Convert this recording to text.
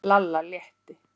Lalla létti.